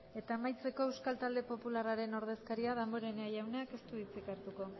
eta amaitzeko euskal talde popularraren ordezkaria damborenea jaunak ez du hitzik hartuko